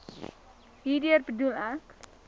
hierdeur bedoel ek